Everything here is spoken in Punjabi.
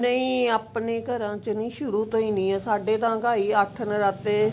ਨਹੀਂ ਆਪਣੇ ਘਰ ਚ ਨੀ ਸ਼ੁਰੂ ਤੋਂ ਹੀ ਸਾਡੇ ਤਾਂ ਅਨ੍ਘਾਈ ਅੱਠ ਨਰਾਤੇ